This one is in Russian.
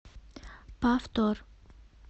повтор